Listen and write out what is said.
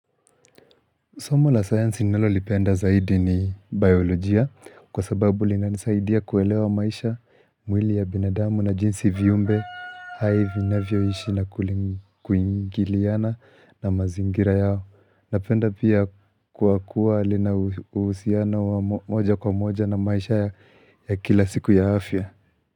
Somo la sayansi ninalolipenda zaidi ni biolojia, kwa sababu linanisaidia kuelewa maisha, mwili ya binadamu na jinsi viumbe hai vinavyoishi na kuingiliana na mazingira yao. Napenda pia kuakua alina uhusiano wa moja kwa moja na maisha ya kila siku ya afya.